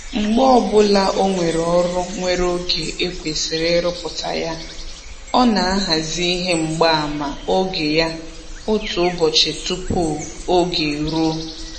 Mgbe ọbụla o nwere ọrụ nwere oge e kwesịrị ịrụpụta ya, ọ na-ahazi ihe mgbaama oge ya otu ụbọchị tụpụ oge eruo